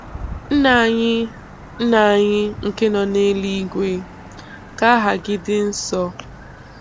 Nna anyị Nna anyị nke nọ n'eluigwe, ka aha gị dị nsọ.